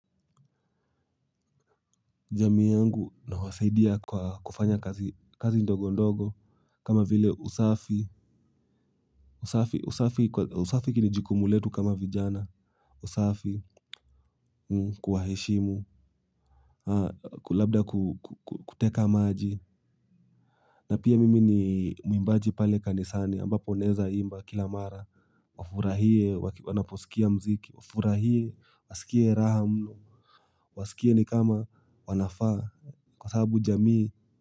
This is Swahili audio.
Jamii yangu nawasaidia kwa kufanya kazi ndogo ndogo kama vile usafi usafi usafi hili ni jukumu letu kama vijana. Usafi. Kuwaheshimu kulabda kuteka maji. Na pia mimi ni mwimbaji pale kanisani ambapo naweza imba kila mara. Wafurahie wanaposikia muziki. Wafurahie wasikie raha mno. Wasikie ni kama wanafaa. Kwa sababu jamii.